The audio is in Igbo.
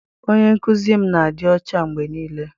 Onye nkụzi m na-adị ọcha mgbe niile.